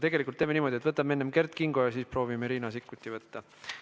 Tegelikult teeme niimoodi, et võtame enne Kert Kingo küsimuse ja siis proovime Riina Sikkuti liinile saada.